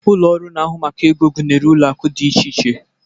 Ụlọ ọrụ na-ahụ maka ego gụnyere ụlọ akụ dị iche iche.